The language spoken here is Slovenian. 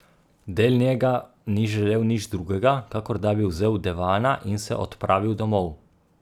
Del njega ni želel nič drugega, kakor da bi vzel Devana in se odpravil domov.